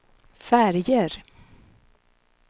färger